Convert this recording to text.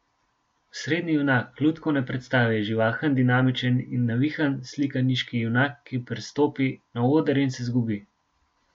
Osrednji junak lutkovne prestave je živahen, dinamičen in navihan slikaniški junak, ki prestopi na oder in se izgubi.